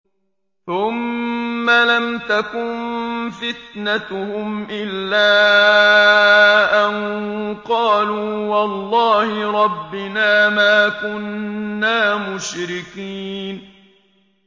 ثُمَّ لَمْ تَكُن فِتْنَتُهُمْ إِلَّا أَن قَالُوا وَاللَّهِ رَبِّنَا مَا كُنَّا مُشْرِكِينَ